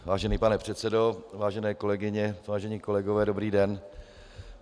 Vážený pane předsedo, vážené kolegyně, vážení kolegové, dobrý den.